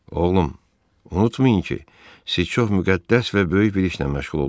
Oğlum, unutmayın ki, siz çox müqəddəs və böyük bir işlə məşğul olursunuz.